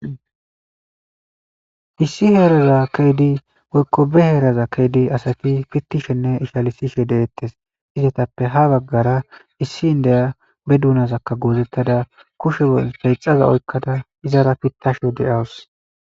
issi heeraza keydi woykko be heeraza keedi asati pittishenne ishalisishe deeettes izetappe ha baggara issi indeya be duunazakka goozettada kushe feyxaza oykkada izara pittasho de7awus